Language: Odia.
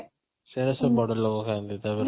ସେ ସବୁଆଡ଼ ଲୋକ ଖାଆନ୍ତି ତାପରେ